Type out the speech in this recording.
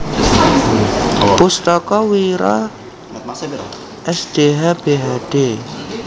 Pustaka Wira Sdh Bhd